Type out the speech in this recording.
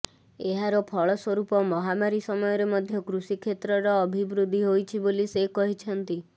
ଏହାର ଫଳ ସ୍ୱରୂପ ମହାମାରୀ ସମୟରେ ମଧ୍ୟ କୃଷି କ୍ଷେତ୍ରର ଅଭିବୃଦ୍ଧି ହୋଇଛି ବୋଲି ସେ କହିଛନ୍ତି